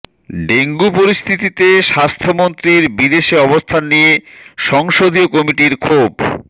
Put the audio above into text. dengue পরিস্থিতিতে স্বাস্থ্যমন্ত্রীর বিদেশে অবস্থান নিয়ে সংসদীয় কমিটির ক্ষোভ